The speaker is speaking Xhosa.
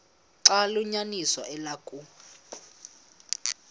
xaba liyinyaniso eloku